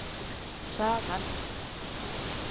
Saga hans er